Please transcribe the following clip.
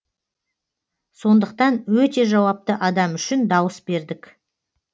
сондықтан өте жауапты адам үшін дауыс бердік